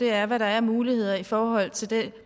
er hvad der er af muligheder i forhold til det